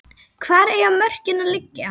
Hvar eiga mörkin að liggja?